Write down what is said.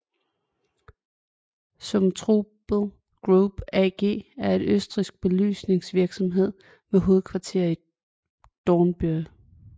Zumtobel Group AG er en østrigsk belysningsvirksomhed med hovedkvarter i Dornbirn